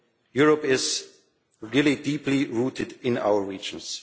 Europe is really deeply rooted in our regions.